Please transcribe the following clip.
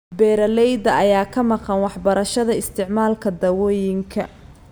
Beeralayda ayaa ka maqan waxbarashada isticmaalka daawooyinka.